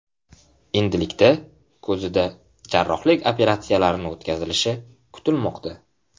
Endilikda ko‘zida jarrohlik operatsiyalarini o‘tkazilishi kutilmoqda.